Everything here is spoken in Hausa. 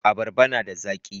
Abarba na da zaki.